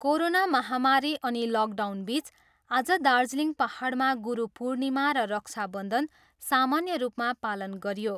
Corona महामारी अनि लकडाउनबिच आज दार्जिलिङ पाहाडमा गुरु पूर्णिमा र रक्षाबन्धन सामान्य रूपमा पालन गरियो।